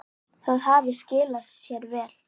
Það hafi skilað sér vel.